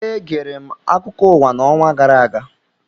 Egere m akụkọ ụwa n'ọnwa gara aga